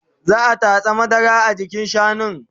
Za'a tatsa madara a jikin shanun